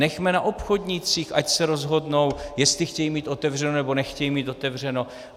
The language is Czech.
Nechme na obchodnících, ať se rozhodnou, jestli chtějí mít otevřeno, nebo nechtějí mít otevřeno.